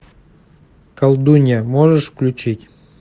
колдунья можешь включить